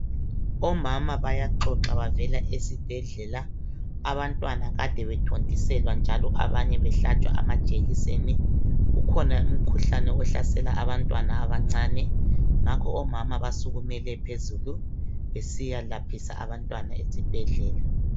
Omama bayaxoxa bavela esibhedlela abantwana kade bethontiselwa njalo banye behlatshwa amajekiseni ukhona imikhuhlane ehlasela abantwana abancane. Ngakho omama basukumele phezulu besiyalaphisa abantwana esibhedlela.